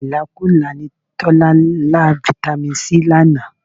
Ìlákùlá ni Tọ́lá ń lá Fitami C lánàá